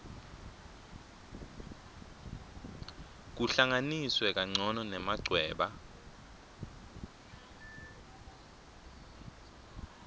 kuhlanganiswe kancono nemachweba